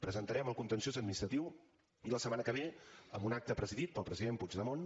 presentarem el contenciós administratiu i la setmana que ve en un acte presidit pel president puigdemont